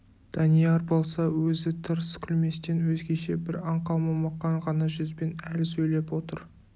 данияр болса өзі тырс күлместен өзгеше бір аңқау момақан ғана жүзбен әлі сөйлеп отыр